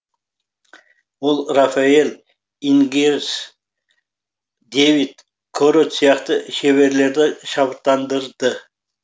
ол рафаэль ингерес дэвид корот сияқты шеберлерді шабыттандырды